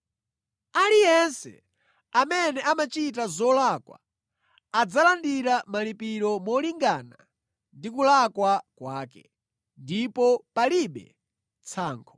Aliyense amene amachita zolakwa adzalandira malipiro molingana ndi kulakwa kwake, ndipo palibe tsankho.